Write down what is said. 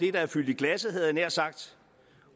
er fyldt i glasset havde jeg nær sagt